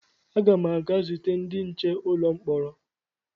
Aga m aga zute ndị nche ụlọ mkpọrọ